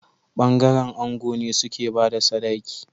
Bangaren ango ne suke bada sadaki